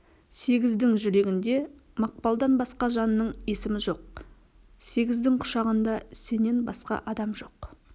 сегіздің жүрегінде мақпалдан басқа жанның есімі жоқ сегіздің құшағында сенен басқа адам жоқ